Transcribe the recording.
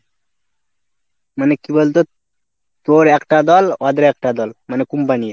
মানে কি বলতো তোর একটা দল, অদের একটা দল মানে Company র।